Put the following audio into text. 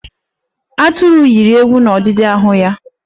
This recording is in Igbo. Atụru yiwere ewu n'ọdidi ahụ ya.